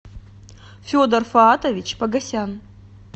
федор фоатович погосян